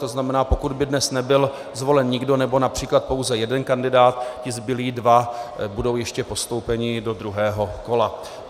To znamená, pokud by dnes nebyl zvolen nikdo nebo například pouze jeden kandidát, ti zbylí dva budou ještě postoupeni do druhého kola.